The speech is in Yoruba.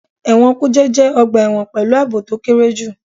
Ẹ̀wọ̀n kùjé jẹ́ ọgbà ẹ̀wọ̀n pẹ̀lú àbò to kéré jù.